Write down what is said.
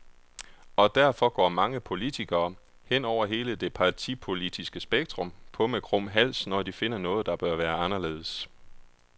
Og derfor går mange politikere, hen over hele det partipolitiske spektrum, på med krum hals, når de finder noget, der bør være anderledes.